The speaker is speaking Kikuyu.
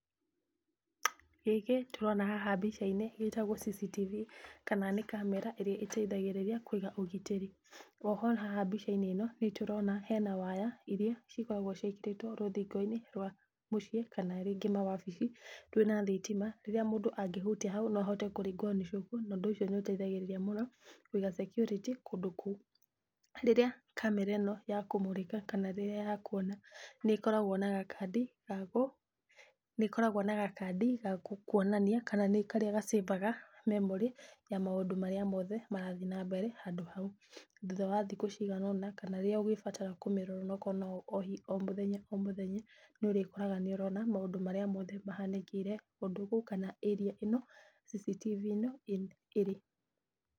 Gĩkĩ tũrona haha mbica-inĩ gĩtagwo CCTV, kana nĩ kamera ĩrĩa ĩtaithagĩrĩria kũiga ũgitĩri. Oho haha mbica-inĩ ĩno nĩtũrona hena waya iria cikoragwo ciĩkĩrĩtwo rũthingo-inĩ rwa mũciĩ, kana rĩngĩ mawabici rwĩna thitima, rũrĩa rĩngĩ mũndũ angĩhutia hau no ahote kũringwo nĩ cũkũ na ũndũ ũcio nĩũteithagĩrĩria mũno na security kũndũ kũu. Rĩrĩa kamera ĩno yakũmũrĩka kana rĩrĩa yakuona, nĩĩkoragwo na gakadi gakuonania kana nĩkarĩa gacĩbaga memory ya maũndũ marĩa mothe marathi na mbere handũ hau. Thutha wa thikũ cigana ũna, kana rĩrĩa ũgĩbatara kũmĩrora onokorwo no o mũthenya o mũthenya, nĩũrĩkoraga nĩũrona maũndũ marĩa mothe mahanĩkĩire kũndũ kũu kana area ĩno CCTV ĩno ĩrĩ.